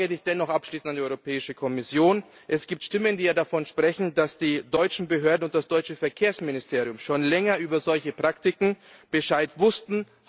Eine Frage hätte ich dennoch abschließend an die Europäische Kommission Es gibt Stimmen, die davon sprechen, dass die deutschen Behörden und das deutsche Verkehrsministerium schon länger über solche Praktiken Bescheid wussten.